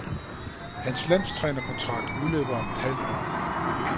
Hans landstrænerkontrakt udløber om et halvt år.